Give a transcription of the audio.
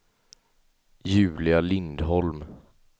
Julia Lindholm